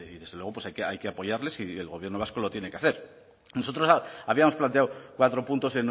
desde luego pues hay que apoyarles y el gobierno vasco lo tiene que hacer nosotros habíamos planteado cuatro puntos